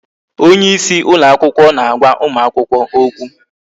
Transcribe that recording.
Onyeisi ụlọ akwụkwọ na-agwa ụmụ akwụkwọ okwu